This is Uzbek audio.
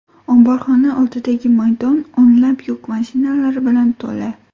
Omborxona oldidagi maydon o‘nlab yuk mashinalari bilan to‘la.